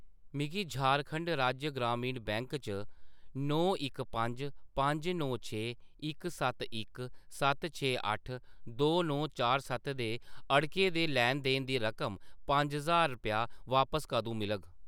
मिगी झारखंड राज्य ग्रामीण बैंक च नौ इक पंज पंज नौ छे इक सत्त इक सत्त छे अट्ठ दो नौ चार सत्त दे अड़के दे लैन-देन दी रकम पंज ज्हार रपेआ बापस कदूं मिलग ?